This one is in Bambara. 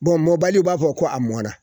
Bon mɔbali i b'a fɔ ko a mɔnna.